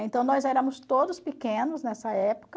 Então, nós éramos todos pequenos nessa época.